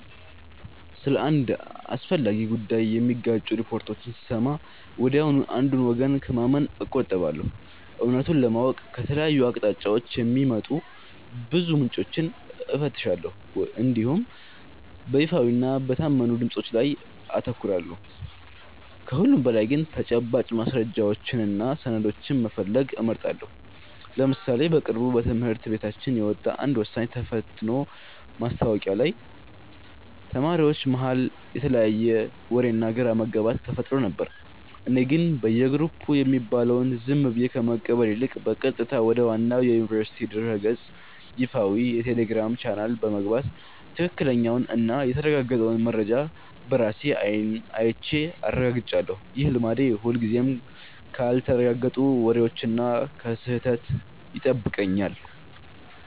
ስለ አንድ አስፈላጊ ጉዳይ የሚጋጩ ሪፖርቶችን ስሰማ ወዲያውኑ አንዱን ወገን ከማመን እቆጠባለሁ። እውነቱን ለማወቅ ከተለያዩ አቅጣጫዎች የሚወጡ ብዙ ምንጮችን እፈትሻለሁ እንዲሁም በይፋዊና በታመኑ ድምፆች ላይ አተኩራለሁ። ከሁሉም በላይ ግን ተጨባጭ ማስረጃዎችንና ሰነዶችን መፈለግ እመርጣለሁ። ለምሳሌ በቅርቡ በትምህርት ቤታችን የወጣ አንድ ወሳኝ የተፈትኖ ማስታወቂያ ላይ ተማሪዎች መሃል የተለያየ ወሬና ግራ መጋባት ተፈጥሮ ነበር። እኔ ግን በየግሩፑ የሚባለውን ዝም ብዬ ከመቀበል ይልቅ፣ በቀጥታ ወደ ዋናው የዩኒቨርሲቲው ድረ-ገጽና ይፋዊ የቴሌግራም ቻናል በመግባት ትክክለኛውንና የተረጋገጠውን መረጃ በራሴ አይን አይቼ አረጋግጫለሁ። ይህ ልማዴ ሁልጊዜም ካልተረጋገጡ ወሬዎችና ከስህተት ይጠብቀኛል።